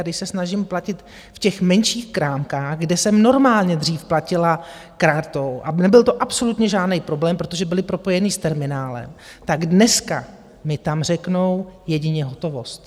A když se snažím platit v těch menších krámcích, kde jsem normálně dřív platila kartou a nebyl to absolutně žádný problém, protože byly propojené s terminálem, tak dneska mi tam řeknou - jedině hotovost.